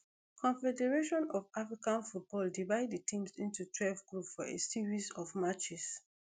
confederation of african football divide di teams into twelve groups for a series of matches